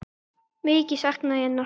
Mikið sakna ég hennar.